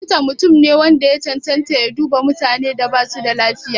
Likita mutum ne wanda ya cancanta ya duba mutanen da basu da lafiya.